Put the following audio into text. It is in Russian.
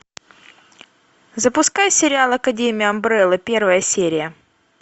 запускай сериал академия амбрелла первая серия